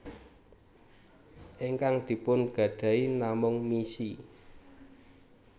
Ingkang dipun gadahi namung misi